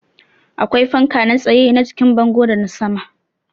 Akwai fanka na tsaye, na jikin bango da na sama